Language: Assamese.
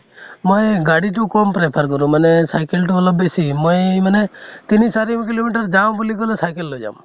মই গাড়ীতো কম prefer কৰোঁ মানে cycle টো অলপ বেছি মই মানে তিনি চাৰি kilo meter যাওঁ বুলি কলে cycle লৈ যাম